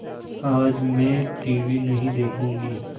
आज मैं टीवी नहीं देखूँगी